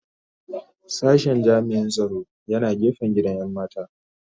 Sashen jami'in tsaro yana gefen gidan 'yan mata